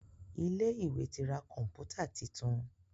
Ilé ìwé tí rá Kọ̀ǹpútà títún.